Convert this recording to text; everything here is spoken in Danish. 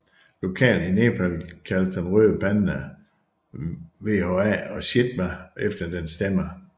Lokalt i Nepal kaldes den røde panda wha og chitwa efter dens stemme